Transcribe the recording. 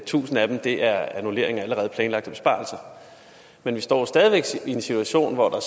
tusind af dem er annullering af allerede planlagte besparelser men vi står stadig væk i en situation hvor der